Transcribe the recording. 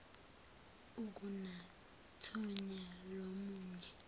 akunathonya lomu nye